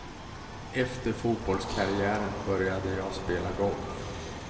Efter fotbollskarriären började jag spela golf.